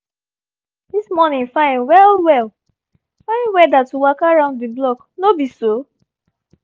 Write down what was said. this morning fine well well — fine weather to waka round the block no be so?